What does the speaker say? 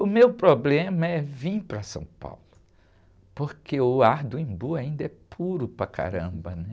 O meu problema é vir para São Paulo, porque o ar do Embu ainda é puro para caramba, né?